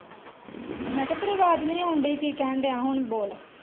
ਮੈਂ ਕਿਹਾ ਤੇਰੀ ਅਵਾਜ ਨੀ ਔਂਡਇ ਕਿ ਕਹਿਣ ਡਆ ਏ ਹੁਣ ਬੋਲ।